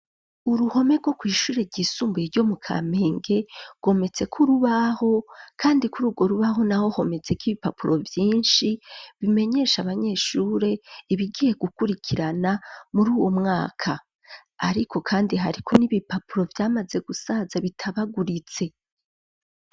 Uruhome rwo kw’ishure ryisumbuye ryo mu Kamenge gwometsek'urubaho, kandi kuri ugwo rubaho naho hometsek'ibipapuro vyinshi bimenyesha abanyeshure ibigiye gukurikirana muri uwo mwaka ,ariko kandi hariko n'ibipapuro vyamaze gusaza bitabaguritse.